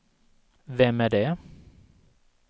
vem är det